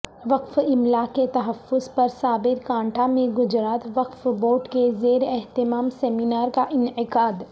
وقف املاک کے تحفظ پر سابرکانٹھا میں گجرات وقف بورڈ کے زیر اہتمام سیمینارکا انعقاد